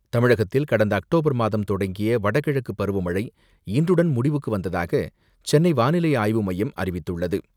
தமிழகத்தில் கடந்த அக்டோபர் மாதம் தொடங்கிய வடகிழக்கு பருவமழை இன்றுடன் முடிவுக்கு வந்ததாக சென்னை வானிலை ஆய்வு மையம் அறிவித்துள்ளது.